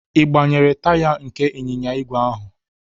Ị gbanyere taya nke ịnyịnya ígwè ahụ?